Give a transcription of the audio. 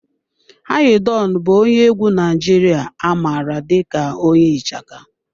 Anyi Don bụ onye egwu Naijiria a mara dị ka onye ichaka.